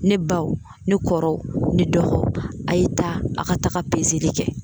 Ne baw ne kɔrɔw ne dɔgɔw a ye taa a ka taga pezeli kɛ